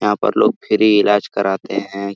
यहां पर लोग फ्री इलाज कराते हैं।